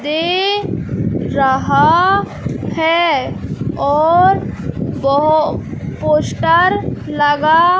दे रहा हैं और पोस्टर लगा--